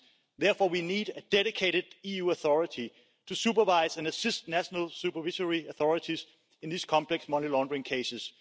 Therefore, we need a dedicated EU authority to supervise and assist national supervisory authorities in these complex money laundering cases.